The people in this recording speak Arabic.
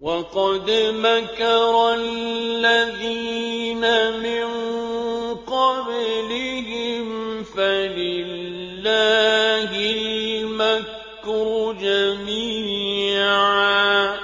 وَقَدْ مَكَرَ الَّذِينَ مِن قَبْلِهِمْ فَلِلَّهِ الْمَكْرُ جَمِيعًا ۖ